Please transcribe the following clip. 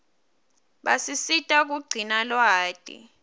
basisita kugcina lwati